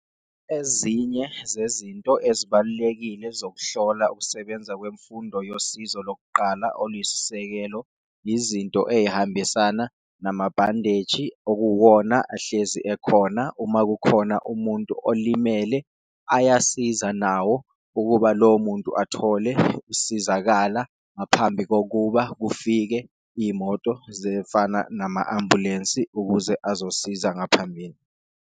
Ezinye zezinto ezibalulekile zokuhlola ukusebenza kwemfundo yosizo lokuqala oluyisisekelo izinto eyihambisana nama-bandage okuwuwona ahlezi ekhona, uma kukhona umuntu olimele. Ayasiza nawo ukuba lowo muntu athole usizakala, ngaphambi kokuba kufike iyimoto zefana nama-ambulensi ukuze azosiza ngaphambili.